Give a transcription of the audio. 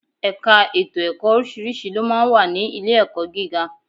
Ẹ̀ka ètò ẹ̀kọ́ oríṣiríṣi ló máa ń wà ní ilé-ẹ̀kọ́ gíga